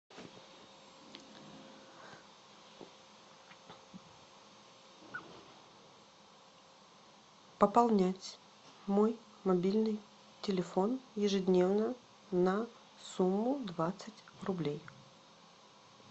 пополнять мой мобильный телефон ежедневно на сумму двадцать рублей